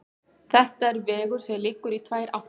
Þetta er vegur sem liggur í tvær áttir.